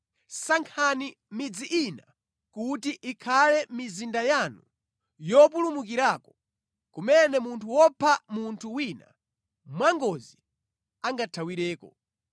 sankhani midzi ina kuti ikhale mizinda yanu yopulumukirako, kumene munthu wopha munthu wina mwangozi angathawireko.